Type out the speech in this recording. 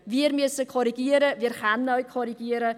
Wir müssen korrigieren, wir können auch korrigieren.